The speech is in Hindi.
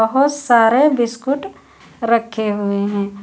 बहुत सारे बिस्कुट रखे हुए हैं।